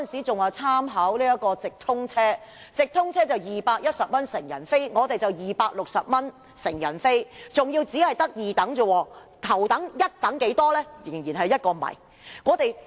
直通車成人車費是210元，高鐵則是260元，但那只是二等票價，頭等、一等的票價是多少？